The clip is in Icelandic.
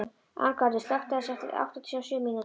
Arngarður, slökktu á þessu eftir áttatíu og sjö mínútur.